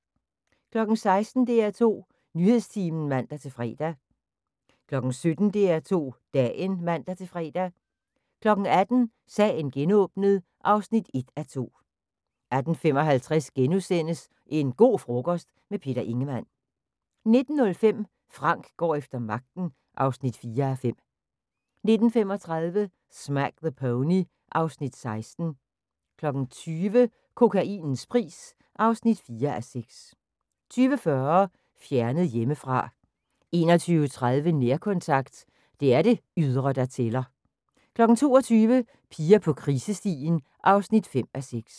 16:00: DR2 Nyhedstimen (man-fre) 17:00: DR2 Dagen (man-fre) 18:00: Sagen genåbnet (1:2) 18:55: En go' frokost - med Peter Ingemann * 19:05: Frank går efter magten (4:5) 19:35: Smack the Pony (Afs. 16) 20:00: Kokainens pris (4:6) 20:40: Fjernet hjemmefra 21:30: Nærkontakt – det er det ydre der tæller 22:00: Piger på krisestien (5:6)